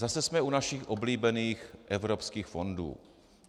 Zase jsme u našich oblíbených evropských fondů.